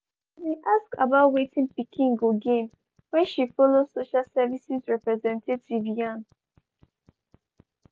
she bin ask about wetin pikin go gain wen she follow social services representative yarn.